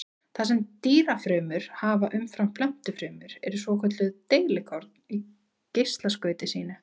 Það sem dýrafrumur hafa umfram plöntufrumur eru svokölluð deilikorn í geislaskauti sínu.